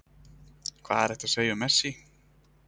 Hvað er hægt að segja um Messi?